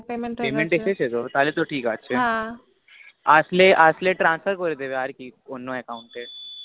payment এসেছে তো payment এসেছে তো তাহলে তো ঠিক আছে আসলে আসলে transfer করে দিবে আর কি Account এ